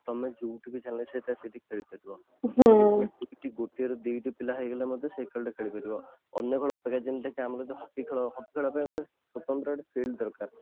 ତମେ ଯୋଉଠି ବି ଚାହିଁବ ସେଟା ଖେଳିପାରିବ ଗୋଟିଏ ରୁ ଦି ଟି ପିଲା ହେଇଗଲେ ମଧ୍ୟ ସେଇ ଖେଳ ଟା ଖେଳିପାରିବ ଅନ୍ୟ ଖେଳ ଅପେକ୍ଷା ଯେମିତି କି ଆମର ହକି ଖେଳ, ହକି ଖେଳ ପାଇଁ ଗୋଟେ ସ୍ୱତନ୍ତ୍ର field ଦରକାର